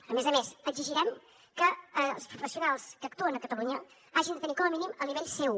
a més a més exigirem que els professionals que actuen a catalunya hagin de tenir com a mínim el nivell c1